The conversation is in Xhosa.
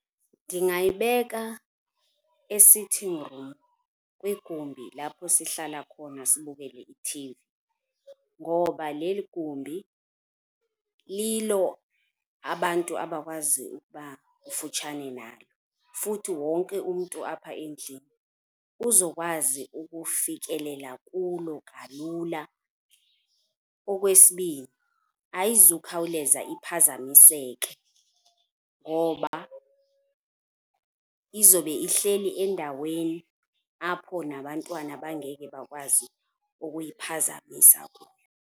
Ndingayibeka e-sitting room kwigumbi lapho sihlala khona sibukele i-T_V ngoba leli gumbi lilo abantu abakwazi ukuba kufutshane nalo, futhi wonke umntu apha endlini uzokwazi ukufikelela kulo kalula. Okwesibini, ayizukhawuleza iphazamiseke ngoba izobe ihleli endaweni apho nabantwana bangeke bakwazi ukuyiphazamisa kuyo.